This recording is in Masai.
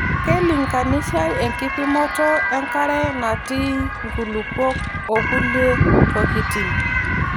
Keilinkanishai enkipimoto enkare natii nkulupuok okulie tokitin.